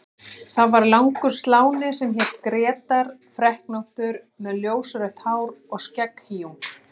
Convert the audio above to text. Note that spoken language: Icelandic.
Það var langur sláni sem hét Grétar, freknóttur með ljósrautt hár og skegghýjung.